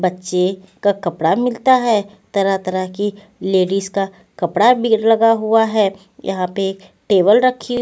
बच्चे का कपड़ा मिलता है तरह-तरह की लेडीज का कपड़ा भी लगा हुआ है यहां पे टेबल रखी--